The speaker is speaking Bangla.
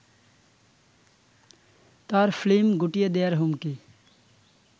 তার ফ্লিম গুটিয়ে দেয়ার হুমকি